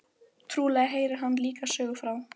Trúlega heyrir hann líka sögu frá